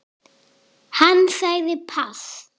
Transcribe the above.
Hann sagði pass.